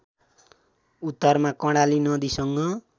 उत्तरमा कर्णाली नदीसँग